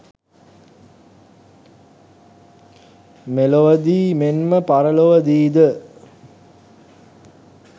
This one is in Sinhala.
මෙලොවදී මෙන්ම පරලොවදී ද